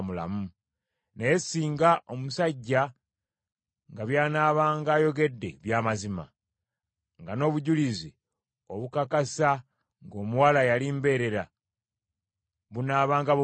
Naye singa omusajja nga by’anaabanga ayogedde bya mazima, nga n’obujulizi obukakasa ng’omuwala yali mbeerera bunaabanga bubuze,